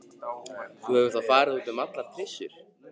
Þú hefur þá farið út um allar trissur?